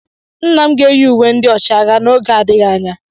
Nna m ga-eyi uwe ndị ọchịagha n'oge adịghị anya.